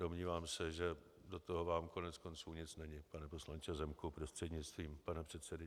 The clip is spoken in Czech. Domnívám se, že do toho vám koneckonců nic není, pane poslanče Zemku prostřednictvím pana předsedy.